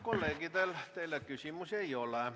Kolleegidel teile küsimusi ei ole.